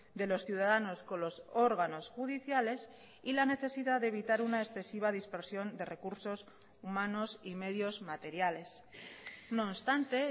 de los ciudadanos con los órganos judiciales y la necesidad de evitar una excesiva dispersión de recursos humanos y medios materiales no obstante